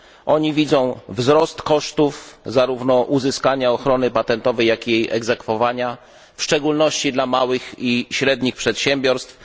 Oni widzą wzrost kosztów zarówno uzyskania ochrony patentowej, jak i jej egzekwowania, w szczególności dla małych i średnich przedsiębiorstw.